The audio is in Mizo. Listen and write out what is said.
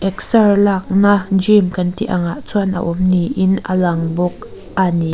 exer lakna gym kan tih angah chuan a awm niin a lang bawk a ni.